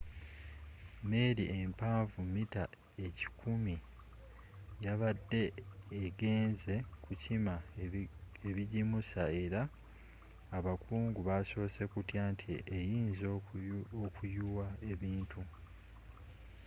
meeri empanvu mita ekikumi yabadde egenzze kukima ebigimusa era abakungu basosse kutya nti eyinza okuyuwa ebintu